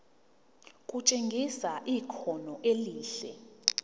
kutshengisa ikhono elihle